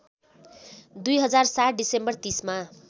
२००७ December ३०मा